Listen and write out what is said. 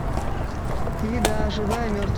еда живая и